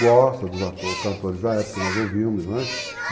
Gosta dos cantores da época, nós ouvimos, né?